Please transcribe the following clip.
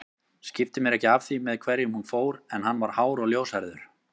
Skipti mér ekki af því með hverjum hún fór en hann var hár og ljóshærður